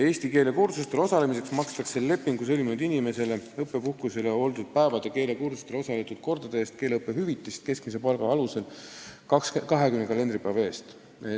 Eesti keele kursustel osalemiseks makstakse lepingu sõlminud inimesele õppepuhkusel oldud päevade, keelekursusel osaletud kordade eest keeleõppehüvitist keskmise palga alusel 20 kalendripäeva eest.